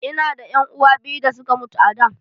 Ina da ƴan uwa biyu da suka mutu a da.